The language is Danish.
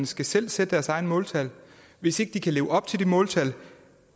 skal selv sætte deres egne måltal hvis ikke de kan leve op til de måltal